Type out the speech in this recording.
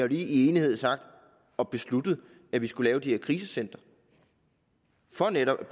lige i enighed sagt og besluttet at vi skal lave de her krisecentre for netop at